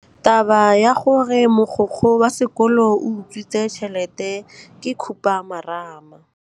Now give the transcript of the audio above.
Taba ya gore mogokgo wa sekolo o utswitse tšhelete ke khupamarama.